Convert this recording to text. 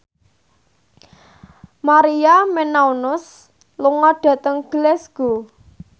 Maria Menounos lunga dhateng Glasgow